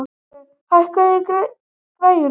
Gói, hækkaðu í græjunum.